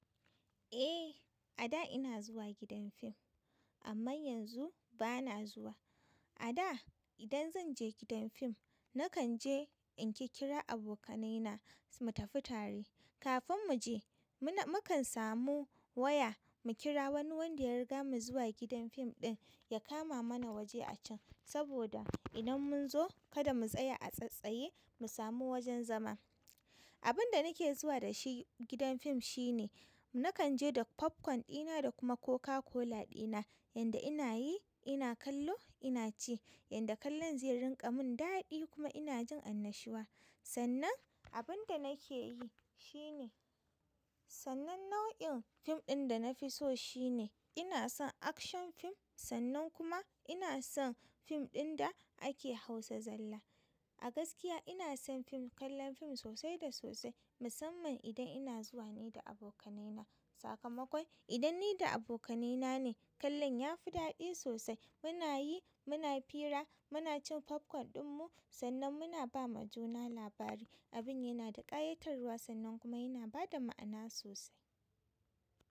Eh, a da ina zuwa gidan fim amman yanzu ba na zuwa. A da idan zan je gidan fim, na kan je in ƙirƙira abokanai na mu tafi tare. Kafin mu je, muna, mu kan samu waya mu kira wani wanda ya riga mu zuwa gidan fim ɗin ya kama mana waje a can. Saboda idan mun zo kada mu tsaya a tsatsaye mu samu wajen zama. Abun da nike zuwa da shi gidan fim shine na kan je da popcorn ɗina da kuma Coca-Cola ɗina. Yanda ina yi, ina kallo, ina ci. Yanda kallon zai rinƙa mun daɗi kuma ina jin annashuwa. Sannan abin da nake yi shine, sannan nau'in fim ɗin da na fi so shine ina son action fim. Sannan kuma ina son fim ɗin da ake hausa zalla. A gaskiya ina son fim, kallon fim sosai da sosai. Musamman idan ina zuwa ne da abokanai na. Sakamakon idan ni da abokanai na ne, kallon yafi daɗi sosai. Muna yi, muna fira, muna cin popcorn ɗin mu sannan muna ba ma juna labari. Abin yana da ƙayatarwa sannan kuma yana ba da ma'ana sosai.